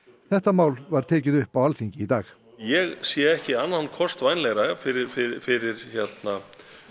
þetta mál var tekið upp á Alþingi í dag ég sé ekki annan kost vænlegri fyrir fyrir